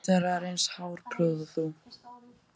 engin þeirra er eins hárprúð og þú.